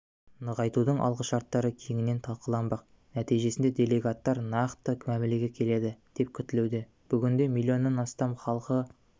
нығайтудың алғышарттары кеңінен талқыланбақ нәтижесінде делегаттар нақты мәмілеге келеді деп күтілуде бүгінде миллионнан астам халқы